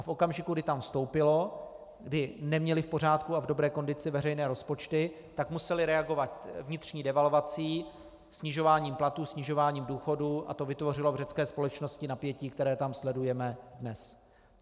A v okamžiku, kdy tam vstoupilo, kdy neměli v pořádku a v dobré kondici veřejné rozpočty, tak museli reagovat vnitřní devalvací, snižováním platů, snižováním důchodů a to vytvořilo v řecké společnosti napětí, které tam sledujeme dnes.